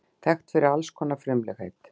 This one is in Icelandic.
Þekkt fyrir alls konar frumlegheit.